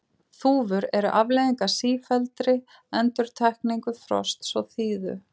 þúfur eru afleiðing af sífelldri endurtekningu frosts og þíðu